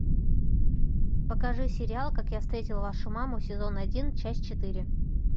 покажи сериал как я встретил вашу маму сезон один часть четыре